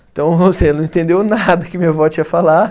Então, você não entendeu nada que minha vó tinha falado.